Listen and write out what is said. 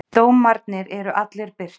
Dómarnir eru allir birtir.